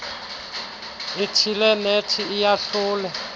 ithile nethi iyahlule